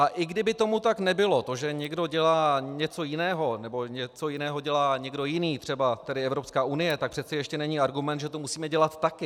A i kdyby tomu tak nebylo, to, že někdo dělá něco jiného nebo něco jiného dělá někdo jiný, třeba tady Evropská unie, tak přeci ještě není argument, že to musíme dělat také.